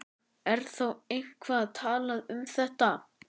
Er þá eitthvað talað um þetta?